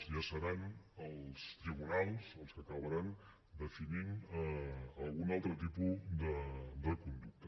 ja seran els tribunals els que acabaran definint algun altre tipus de conducta